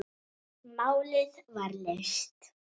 Málið var leyst.